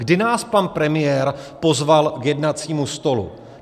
Kdy nás pan premiér pozval k jednacímu stolu?